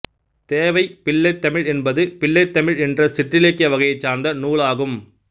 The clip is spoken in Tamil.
தேவைப் பிள்ளைத்தமிழ் என்பது பிள்ளைத்தமிழ் என்ற சிற்றிலக்கிய வகையைச் சார்ந்த நூலாகும்